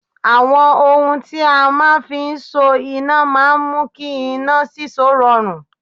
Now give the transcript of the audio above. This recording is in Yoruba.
Àwọn ohun tí a máa ń fi ń so iná máa ń mú kí iná síso rọrùn